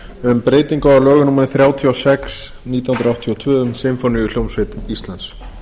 um breytingu á lögum númer þrjátíu og sex nítján hundruð áttatíu og tvö um sinfóníuhljómsveit íslands